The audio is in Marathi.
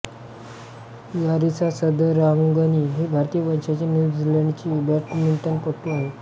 लारीसा सदरांगणी ही भारतीय वंशाची न्यू झीलँडची बॅडमिंटनपटू आहे